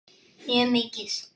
Mjög mikið.